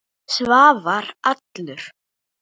Svavar allur.